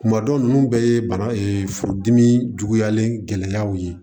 Kumadɔw nu bɛɛ ye bana furudimi juguyalen gɛlɛyaw ye